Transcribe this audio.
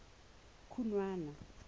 khunwana